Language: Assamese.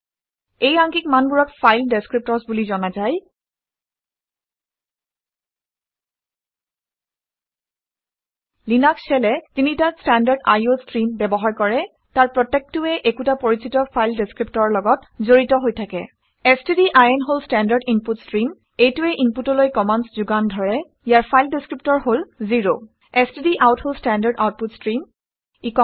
এই আংকিক মানবোৰক ফাইল ডেচক্ৰিপটৰ্ছ বুলি জনা যায় লিনাক্স শ্বেলে তিনিটা ষ্টেনৰ্ডাড iঅ ষ্ট্ৰিম ব্যৱহাৰ কৰে। তাৰ প্ৰত্যেকটোৱেই একোটা পৰিচিত ফাইল দেচক্ৰিপটৰৰ লগত জড়িত হৈ থাকে ষ্টডিন ষ্টেণ্ডাৰ্ড ইনপুট ষ্ট্ৰিম। এইটোৱে ইনপুটলৈ কামাণ্ডচ্ ঘোগান ধৰে ইয়াৰ ফাইল ডেচক্ৰিপটৰ হল 0 ষ্টডাউট ষ্টেণ্ডাৰ্ড আউটপুট ষ্ট্ৰিম